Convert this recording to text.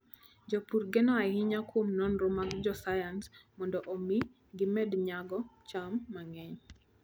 Jopur geno ahinya kuom nonro mag josayans mondo omi gimed nyago cham mang'eny.